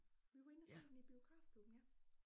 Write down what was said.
Vi var inde og se den i biografklubben ja